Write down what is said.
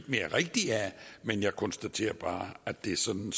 mere rigtigt af men jeg konstaterer bare at det er sådan